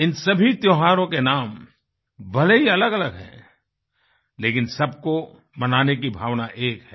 इन सभी त्योहारों के नाम भले ही अलगअलग हैं लेकिन सब को मनाने की भावना एक है